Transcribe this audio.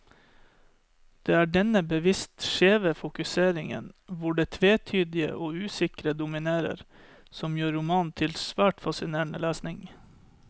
Det er denne bevisst skjeve fokuseringen, hvor det tvetydige og usikre dominerer, som gjør romanen til svært fascinerende lesning.